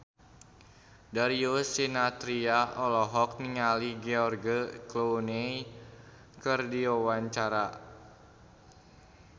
Darius Sinathrya olohok ningali George Clooney keur diwawancara